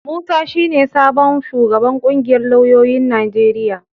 Musa shi ne sabon shugaban ƙungiyar lauyoyin Najeriya.